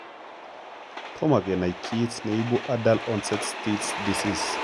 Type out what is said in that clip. Tomo kenai kiit neibu adult onset still's disease